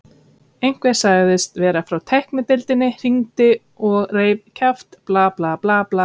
Einhver sem sagðist vera frá tæknideildinni hringdi og reif kjaft, bla, bla, bla.